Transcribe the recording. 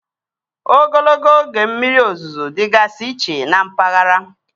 Ogologo oge mmiri ozuzo dịgasị iche na mpaghara